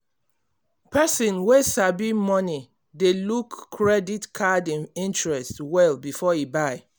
person wey sabi money dey look credit card interest well before e buy.